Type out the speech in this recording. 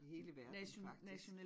I hele verden faktisk